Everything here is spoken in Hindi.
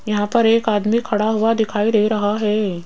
यहां पर एक आदमी खड़ा हुआ दिखाई दे रहा है।